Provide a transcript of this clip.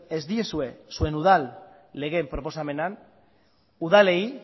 ez diezue zuen udal lege proposamenean udalei